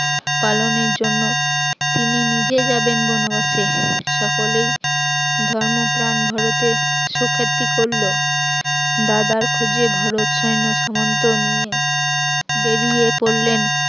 পালনের জন্য তিনিও নিজে যাবেন বনবাসে, সকলেই ধর্মপ্রাণ ভরতের সুখ্যাতি করলো দাদার খোঁজে ভরত সৈন্যসমন্ত নিয়ে বেরিয়ে পড়লেন